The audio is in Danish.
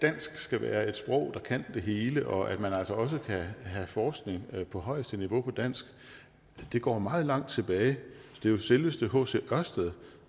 dansk skal være et sprog der kan det hele og at man altså også skal have forskning på højeste niveau på dansk går meget langt tilbage det var jo selveste hc ørsted